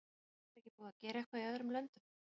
Væri ekki búið að gera eitthvað í öðrum löndum?